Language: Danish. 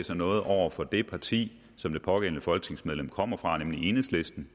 sig noget over for det parti som det pågældende folketingsmedlem kommer fra nemlig enhedslisten